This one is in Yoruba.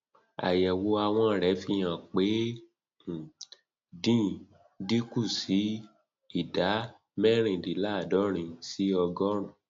àyẹwò àwọn rẹ fi hàn pé ó um dín kù sí sí ìdá mẹrìndínláàádọrin sí ọgọrùnún